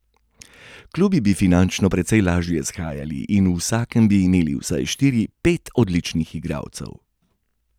Klubi bi finančno precej lažje shajali in v vsakem bi imeli vsaj štiri, pet odličnih igralcev.